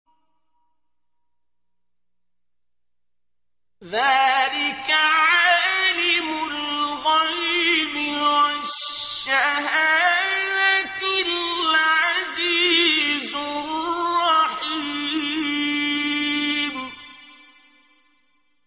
ذَٰلِكَ عَالِمُ الْغَيْبِ وَالشَّهَادَةِ الْعَزِيزُ الرَّحِيمُ